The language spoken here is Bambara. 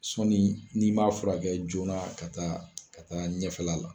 Sɔɔni ni m'a furakɛ joona ka taa ka taa ɲɛfɛla la.